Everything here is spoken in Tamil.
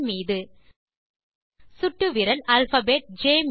மீது சுட்டு விரல் அல்பாபெட் ஜ்